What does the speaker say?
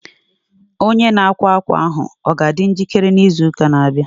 Onye na-akwa akwa ahụ a ga-adị njikere n' izuuka na-abịa?